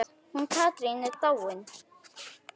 Hún Katrín er dáin.